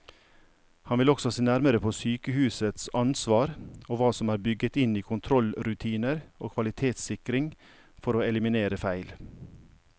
Han vil også se nærmere på sykehusets ansvar og hva som er bygget inn i kontrollrutiner og kvalitetssikring for å eliminere feil.